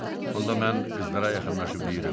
Onda mən qızlara yaxınlaşıb deyirəm.